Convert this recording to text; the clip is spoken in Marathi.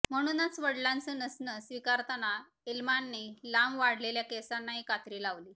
म्हणूनच वडिलांचं नसणं स्वीकारताना इल्माने लांब वाढलेल्या केसांनाही कात्री लावली